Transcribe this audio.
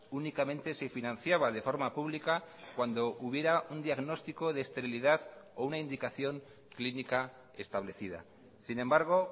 únicamente se financiaba de forma pública cuando hubiera un diagnóstico de esterilidad o una indicación clínica establecida sin embargo